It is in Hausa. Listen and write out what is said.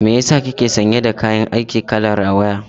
Me yasa kike sanye da kayan aiki kalar rawaya?